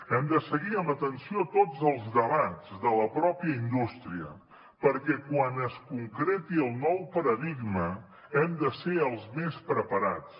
hem de seguir amb atenció tots els debats de la mateixa indústria perquè quan es concreti el nou paradigma hem de ser els més preparats